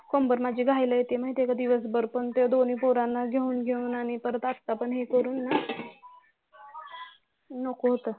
कंबर माझी घाईला येते माहित आहे का दिवसभर पण ते दोन्ही पोरांना घेवून घेवून आणि परात आत्ता पण हे करून नको होतं